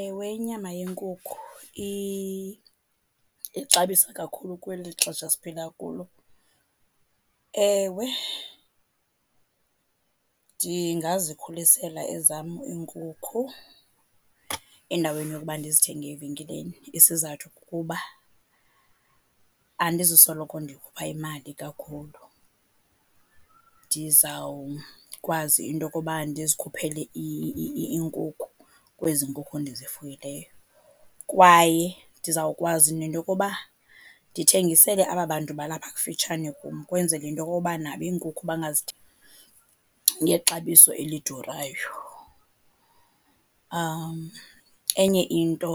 Ewe, inyama yenkukhu ixabisa kakhulu kweli xesha siphila kulo. Ewe, ndingazikhulisela ezam iinkukhu endaweni yokuba ndizithenge evenkileni. Isizathu kukuba andizusoloko ndikhupha imali kakhulu, ndizawukwazi into yokuba ndizikhuphele iinkukhu kwezi nkukhu ndizifuyileyo. Kwaye ndizawukwazi nento yokuba ndithengisele aba bantu balapha kufitshane kum ukwenzela into yokuba nabo iinkukhu ngexabiso elidurayo. Enye into